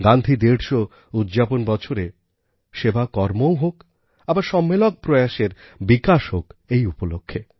গান্ধী ১৫০উদ্যাপন বছরে সেবাকর্মও হোক আবার সম্মেলক প্রয়াসের বিকাশ হোক এই উপলক্ষে